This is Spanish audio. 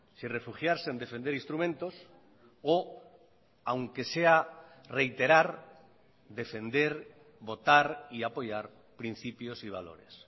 si refugiarse en defender instrumentos o aunque sea reiterar defender votar y apoyar principios y valores